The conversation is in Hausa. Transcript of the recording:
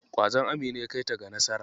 Ƙwazon Amina ya kaita ga nasara.